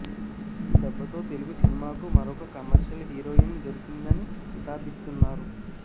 ఈ దెబ్బతో తెలుగు సినిమాకు మరొక కమర్షియల్ హీరోయిన్ దొరికిందని కితాబిస్తున్నారు